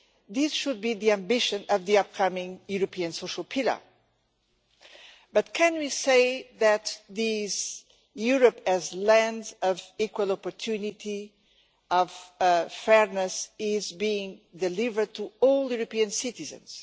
This should be the ambition of the upcoming European Social Pillar, but can we say that this Europe, as a land of equal opportunity, of fairness, is being delivered to all European citizens?